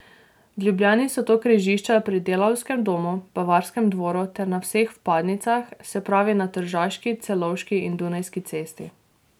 V Ljubljani so to križišča pri Delavskem domu, Bavarskem dvoru ter na vseh vpadnicah, se pravi na Tržaški, Celovški in Dunajski cesti.